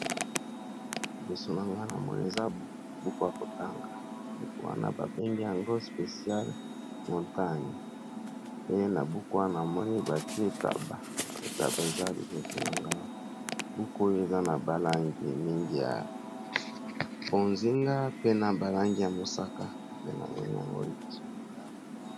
Liboso na nga na moni eza buku ya kotanga buku wana babengi yango speciale montagne ye na buku wana na moni bati taba taba eza liboso na nga awa buku oyo eza na balangi mingi ya bozinga pe na balangi ya mosaka pe namoni yango liboso na nga awa